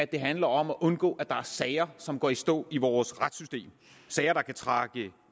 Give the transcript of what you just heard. det handler om at undgå at der er sager som går i stå i vores retssystem sager der kan trække